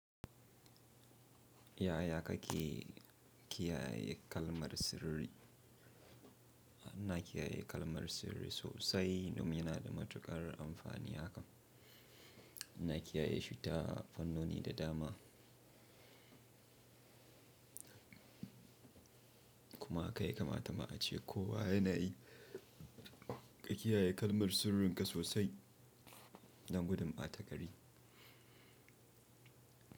Ya ya ka ke kiyaye kalmar sirri? Ina kiyaye kalmar sirri sosai, domin yana da matuƙar amfani hakan. Ina kiyaye shi ta fannoni da dama. Kuma haka ya kamata ma a ce kowa yana yi, ka kiyaye kalmar sirrinka sosai, dan gudun ba ta gari.